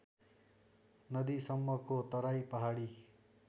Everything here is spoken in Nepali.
नदीसम्मको तराई पहाडी